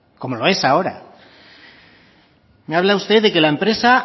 como lo es ahora me habla usted de que la empresa